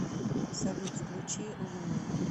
салют включи луни